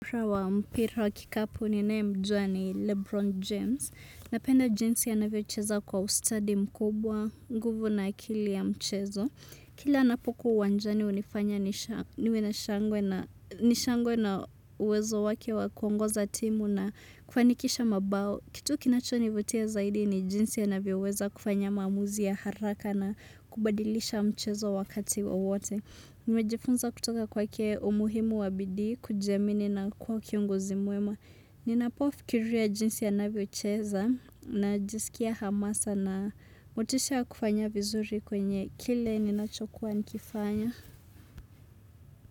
Wa mpira wa kikapu ninae mjua ni Lebron James. Napenda jinsi anavyocheza kwa ustadi mkubwa, nguvu na akili ya mchezo. Kila anapokuwa uwanjani hunifanya niwe na nishangwe na uwezo wake wa kuongoza timu na kufanikisha mabao. Kitu kinachoni vutia zaidi ni jinsi anavyo weza kufanya maamuzi ya haraka na kubadilisha mchezo wakati wowote. Nimejifunza kutoka kwake umuhimu wa bidii kujiamini na kuwa kiongozi mwema. Ninapofikiria ya jinsi anavyocheza najisikia hamasa na motisha ya kufanya vizuri kwenye kile ninachokuwa nikifanya.